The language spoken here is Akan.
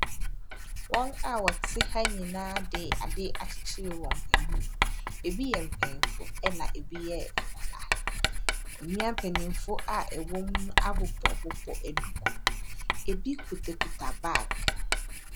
Wɔn a wɔte ha nyinaa de ade akyekyere wɔn ani, bi yɛ mpanimfo na bi yɛ nkwadaa. Mmea mpanimfo a ɛwɔ mu abobɔbobɔ duku, ɛbi kitakita baage.